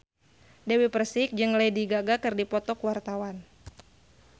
Dewi Persik jeung Lady Gaga keur dipoto ku wartawan